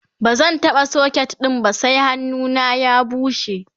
bazan taɓa socket ɗin ba sai hannuna ya bushe